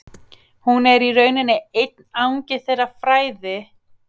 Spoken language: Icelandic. Hún er í rauninni einn angi þeirra fræða sem fjalla um þjóðsögur og þjóðtrú.